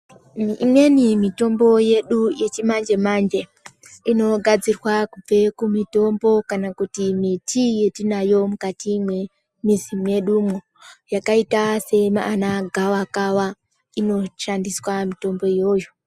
Imweni mitombo yedu yechimanje manje inogadzirwa kubve kumitombo kana kuti miti yetinayo mwukati mwemizi mwedumwo, yakaita sana gawakawa inoshandiswa mitombo iyoyo.